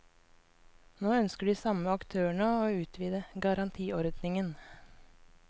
Nå ønsker de samme aktørene å utvide garantiordningen.